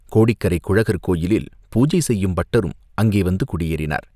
கோடிக்கரைக் குழகர் கோயிலில் பூஜை செய்யும் பட்டரும் அங்கே வந்து குடியேறினார்.